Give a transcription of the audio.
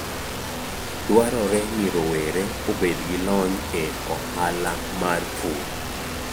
Dwarore ni rowere obed gi lony e ohala mar pur.